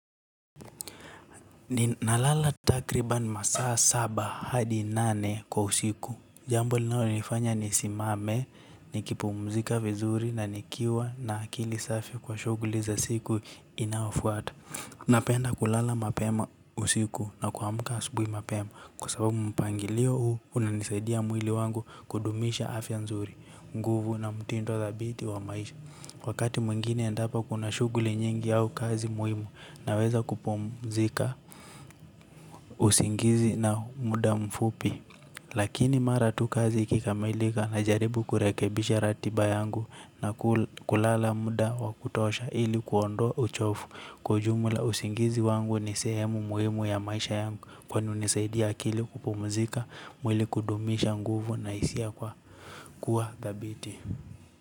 Nalala takriban masaa saba hadi nane kwa usiku. Jambo linalonifanya nisimame, nikipumzika vizuri na nikiwa na akili safi kwa shuguli za siku inaofuata. Napenda kulala mapema usiku na kuamka asubui mapema. Kwa sababu mpangilio huu unanisaidia mwili wangu kudumisha afya nzuri, nguvu na mtindo thabiti wa maisha. Wakati mwingine endapa kuna shuguli nyingi au kazi muhimu naweza kupumzika, usingizi na muda mfupi. Lakini mara tu kazi ikikamalika na jaribu kurekebisha ratiba yangu na kulala muda wa kutosha ili kuondoa uchovu kwa ujumla usingizi wangu ni sehemu muhimu ya maisha yangu kwani hunisaidia akili kupumzika mwili kudumisha nguvu na hisia kua dhabiti.